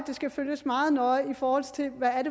skal følges meget nøje i forhold til hvad